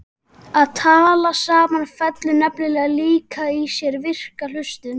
Að tala saman felur nefnilega líka í sér virka hlustun.